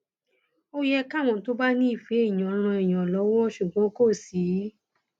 ó yẹ káwọn tó bá nífẹẹ èèyàn ran èèyàn lọwọ ṣùgbọn kò sí